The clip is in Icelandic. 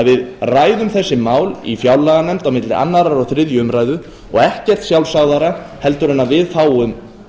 við ræðum þessi mál í fjárlaganefnd á milli annars og þriðju umræðu og ekkert sjálfsagðara heldur en að við fáum